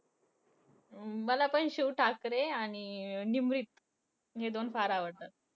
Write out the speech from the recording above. अं मला पण शिव ठाकरे आणि निमरीत हे दोन फार आवडतात.